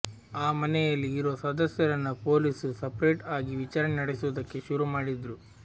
ಆ ಮನೆಯಲ್ಲಿ ಇರೋ ಸದಸ್ಯರನ್ನ ಪೊಲೀಸ್ರು ಸರ್ಪೇಟ್ ಆಗಿ ವಿಚಾರಣೆ ನಡೆಸೋದಕ್ಕೆ ಶುರುಮಾಡಿದ್ರು